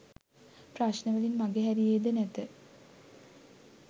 ප්‍රශ්නවලින් මගහැරියේ ද නැත